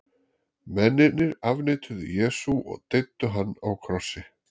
mennirnir afneituðu jesú og deyddu hann á krossi